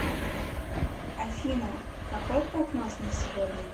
афина какой прогноз на сегодня